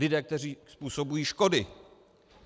Lidé, kteří způsobují škody.